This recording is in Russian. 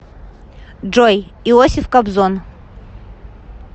джой иосиф кобзон